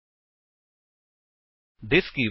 ਹੁਣ ਅਸੀ ਫੀਲਡ ਦੇ ਨਾਲ ਥਿਸ ਕੀਵਰਡ ਦੀ ਵਰਤੋ ਵੇਖਾਂਗੇ